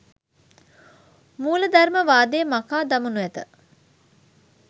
මූලධර්මවාදය මකා දමනු ඇත.